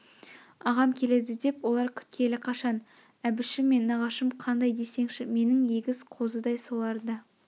ағам келеді деп олар күткелі қашан әбішім мен нағашым қандай десеңші менің егіз қозыдай соларды